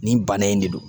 Nin bana in de don